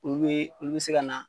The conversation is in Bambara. Olu be olu bi se kana